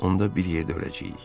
Onda bir yerdə öləcəyik.